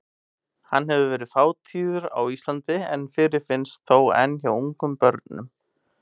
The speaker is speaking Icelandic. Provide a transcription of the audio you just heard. Hann hefur verið fátíður á Íslandi en fyrirfinnst þó enn hjá ungum börnum.